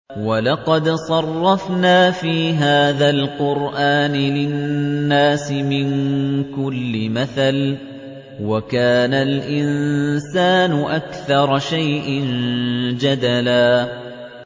وَلَقَدْ صَرَّفْنَا فِي هَٰذَا الْقُرْآنِ لِلنَّاسِ مِن كُلِّ مَثَلٍ ۚ وَكَانَ الْإِنسَانُ أَكْثَرَ شَيْءٍ جَدَلًا